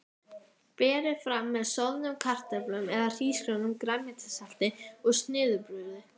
Berið fram með soðnum kartöflum eða hrísgrjónum, grænmetissalati og snittubrauði.